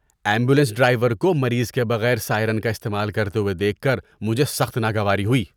Ambulance driver کو مریض کے بغیر سائرن کا استعمال کرتے ہوئے دیکھ کر مجھے سخت ناگواری ہوئی۔